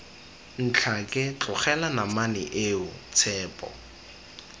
ntlhake tlogela namane eo tshepo